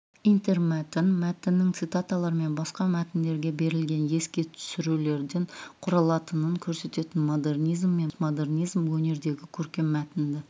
интермәтін мәтіннің цитаталар мен басқа мәтіндерге берілген еске түсірулерден құралатынын көрсететін модернизм мен модернизм өнеріндегі көркем мәтінді